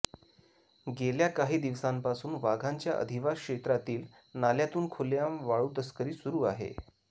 गेल्या काही दिवसांपासून वाघांच्या अधिवास क्षेत्रातील नाल्यातून खुलेआम वाळूतस्करी सुरू आहे